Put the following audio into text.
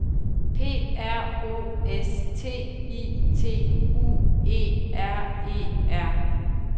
P R O S T I T U E R E R